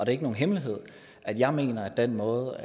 er ikke nogen hemmelighed at jeg mener at den måde